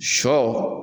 Sɔ